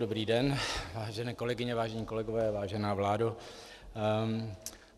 Dobrý den, vážené kolegyně, vážení kolegové, vážená vládo.